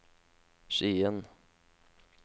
Skien